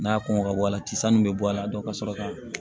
N'a kɔngɔ ka bɔ a la tisɛn min be bɔ a la ka sɔrɔ ka